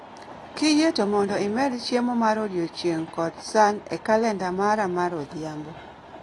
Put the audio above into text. Kiyie to mondo imed chiemo mar odiechieng' kod H san e kalenda mara mar odhiambo